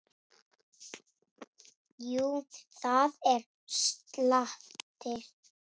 Jú, það er slatti.